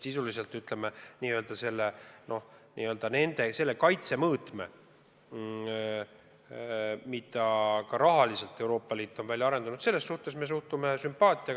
Mis puutub sellesse n-ö kaitsemõõtmesse, mida Euroopa Liit ka rahaliselt on välja arendanud, siis sellesse me suhtume sümpaatiaga.